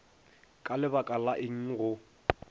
ka lebaka la eng go